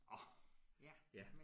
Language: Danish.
Orh ja